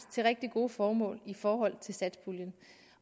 til rigtig gode formål i forhold til satspuljen